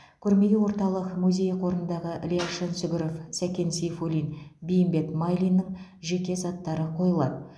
көрмеге орталық музей қорындағы ілияс жансүгіров сәкен сейфуллин бейімбет майлиннің жеке заттары қойылады